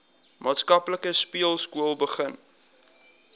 plaaslike speelskool begin